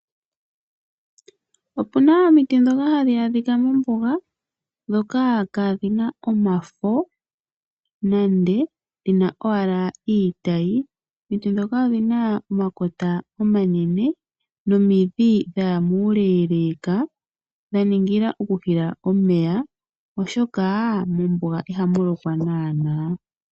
Opuna omiti ndhoka hadhi adhika mombuga ndhoka kaadhina omafo nande dhina owala iitayi. Omiti ndhoka odhina omakota omanene nomidhi dhaya muleeleeka dha ningila okuhila omeya oshoka mombuga ihamu lokwa naanaa.